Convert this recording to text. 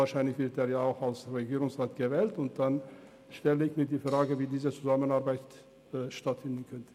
er wird vermutlich als Regierungsrat gewählt, und für mich stellt sich die Frage, wie dann die Zusammenarbeit aussehen wird.